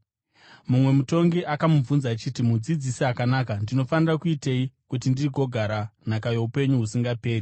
Mumwe mutongi akamubvunza achiti, “Mudzidzisi akanaka, ndinofanira kuitei kuti ndigogara nhaka youpenyu husingaperi?”